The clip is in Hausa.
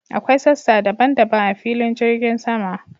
Akwai sassa daban daban a filin jirgin sama.